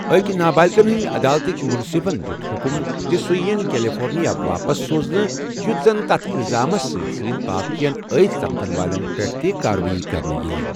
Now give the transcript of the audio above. أکۍ نابالِغن ہِنٛدِ عدالتٕکۍ مُنصِفن دیُت حکم زِ سُہ ییٖن کیلِفورنِیا واپس سوزنہٕ یُتھ زن تتھ اِلزامس سٕتۍ سٕتۍ باقِین عٲید سپدن والٮ۪ن پیٹھ تہِ كاروٲیی كرنہٕ ییہ۔